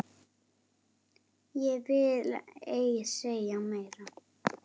Ég vil ei segja meira.